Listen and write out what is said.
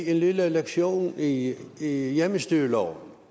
en lille lektion i i hjemmestyreloven